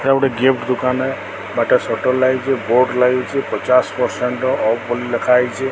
ଏଇଟା ଗୋଟେ ଗିଫ୍ଟ ଦୋକାନ ଟାଏ ପାଟେ ସଟର ଲାଗିଚି। ବୋର୍ଡ ଲାଗିଚି। ପଚାସ ପରସେଣ୍ଟ ର ଅଫ୍ ବୋଲି ଲେଖା ହେଇଚି।